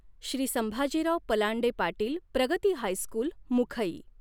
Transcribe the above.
Shri Sambhajirao Palande Patil Pragati high school Mukhai